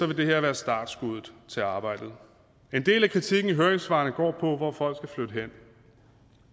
det her være startskuddet til arbejdet en del af kritikken i høringssvarene går på hvor folk skal flytte hen